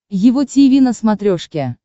его тиви на смотрешке